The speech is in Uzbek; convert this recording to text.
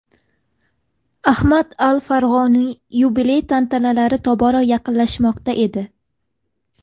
Ahmad al-Farg‘oniy yubiley tantanalari tobora yaqinlashmoqda edi.